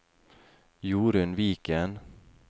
Jorun Viken